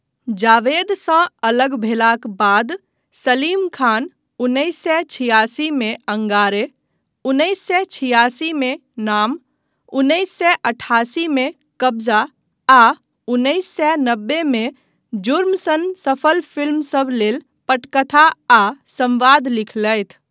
जावेदसँ अलग भेलाक बाद सलीम खान उन्नैस सए छिआसी मे अंगारे, उन्नैस सए छिआसी मे नाम, उन्नैस सए अठासी मे कब्जा आ उन्नैस सए नबे मे जुर्म सन सफल फिल्मसब लेल पटकथा आ संवाद लिखलथि।